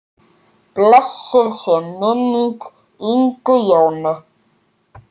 Blessuð sé minning Ingu Jónu.